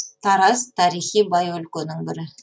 тараз тарихи бай өлкенің бірі